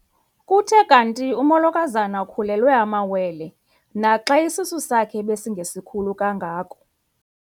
Kuthe kanti umolokazana ukhulelwe amawele naxa isisu sakhe besingesikhulu kangako.